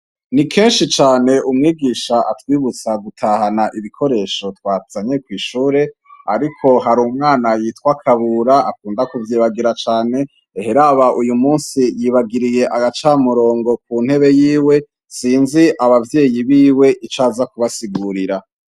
Ni kenshi cane umwigisha atwibutsa gutahana ibikoresho twazanye kw'ishure ariko hari umwana yitwa Kabura akunda kuvyibagira cane ehe raba uyu munsi yibagiriye agacamurongo ku ntebe yiwe, sinzi abavyeyi biwe ico aza kubasigurira.